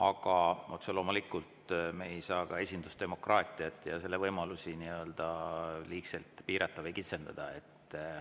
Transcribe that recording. Aga otse loomulikult me ei saa esindusdemokraatiat ja selle võimalusi nii-öelda liigselt piirata või kitsendada.